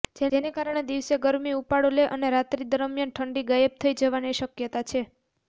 જેને કારણે દિવસે ગરમી ઉપાડો લે અને રાત્રી દરમિયાન ઠંડી ગાયબ થઈ જવાની શક્યતા છે